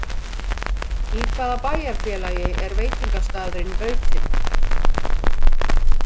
Í hvaða bæjarfélagi er veitingastaðurinn Bautinn?